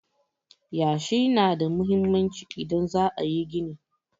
Yashi na da muhimmanci idan za a yi gini.